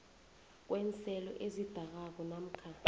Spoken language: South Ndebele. kweenselo ezidakako namkha